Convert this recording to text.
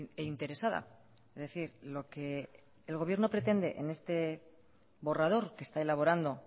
e interesada es decir lo que el gobierno pretende en este borrador que está elaborando